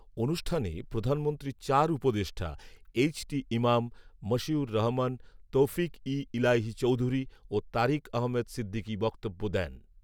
অনুষ্ঠানে প্রধানমন্ত্রীর চার উপদেষ্টা এইচ টি ইমাম, মশিউর রহমান, তৌফিক ই ইলাহী চৌধুরী ও তারিক আহমেদ সিদ্দিক বক্তব্য দেন